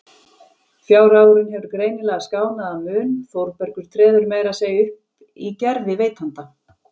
Fjárhagurinn hefur greinilega skánað að mun, Þórbergur treður meira að segja upp í gervi veitanda.